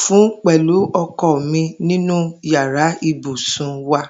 fún pè̩lú o̩ko̩ mi ninu yàrá ibùsùn wa